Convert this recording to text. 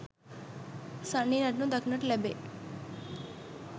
සන්නි නටනු දැක්නට ලැබේ